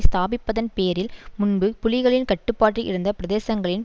ஸ்தாபிப்பதன் பேரில் முன்பு புலிகளின் கட்டுப்பட்டில் இருந்த பிரதேசங்களில்